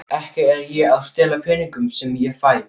Ekki er ég að stela peningunum sem ég fæ.